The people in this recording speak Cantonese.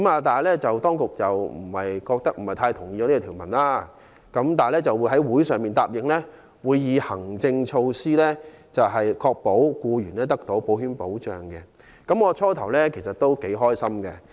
當局不同意我這項修正案，但答應會以行政措施確保僱員得到保險保障，我初時也很高興。